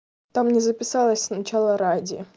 там не записалось сначала ради